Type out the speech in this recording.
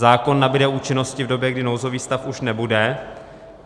Zákon nabyde účinnosti v době, kdy nouzový stav už nebude.